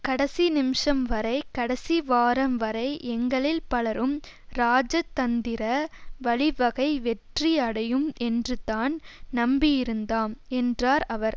கடசி நிமிஷம் வரை கடசி வாரம் வரை எங்களில் பலரும் ராஐதந்திர வழிவகை வெற்றி அடையும் என்றுதான் நம்பியிருந்தாம் என்றார் அவர்